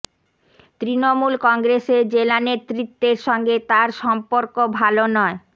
তৃণমূল কংগ্রেসের জেলা নেতৃত্বের সঙ্গে তার সম্পর্ক ভাল নয়